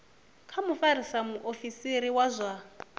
kha mufarisa muofisiri wa zwa